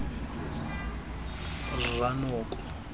rranoko